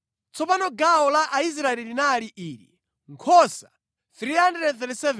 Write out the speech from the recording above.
Tsono gawo la Aisraeli linali ili: nkhosa 337,500,